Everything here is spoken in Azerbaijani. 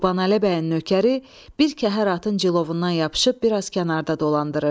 Qurbanəli bəyin nökəri bir kəhər atın cilovundan yapışıb bir az kənarda dolandırırdı.